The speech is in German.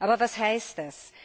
Aber was heißt das?